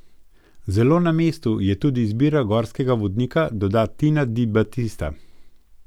Zelo na mestu je tudi izbira gorskega vodnika, doda Tina Di Batista.